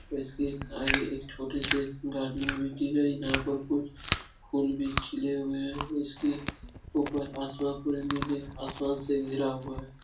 इसके आगे एक छोटी सी गार्डनिंग भी की गयी है। जहां पर कुछ फूल भी खिले हुए हैं। इसके ऊपर आसमान नीले आसमान से घिरा हुआ है।